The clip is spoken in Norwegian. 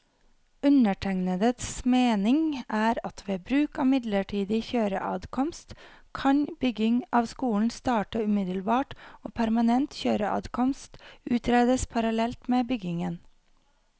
Undertegnedes mening er at ved bruk av midlertidig kjøreadkomst, kan bygging av skolen starte umiddelbart og permanent kjøreadkomst utredes parallelt med byggingen.